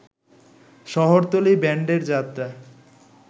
শহরতলী ব্যান্ডের যাত্রা